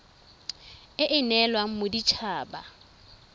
e e neelwang modit haba